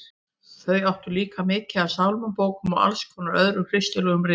Þau áttu líka mikið af sálmabókum og alls konar öðrum kristilegum ritum.